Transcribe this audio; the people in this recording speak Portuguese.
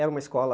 Era uma escola